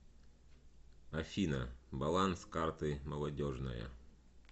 афина баланс карты молодежная